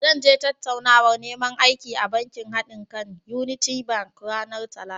Zan je tattaunawar neman aiki a bankin haɗinka (unity bank) ranar Talata.